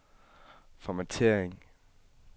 formattering